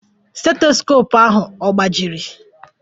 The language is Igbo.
Stetoskopu ahụ agbajiri?